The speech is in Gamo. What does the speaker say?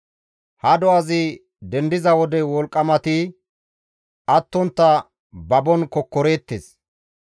Ha do7azi dendiza wode wolqqamati attontta babon kokkoreettes.